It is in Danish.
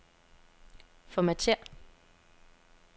Formatér.